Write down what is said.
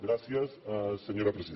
gràcies senyora presidenta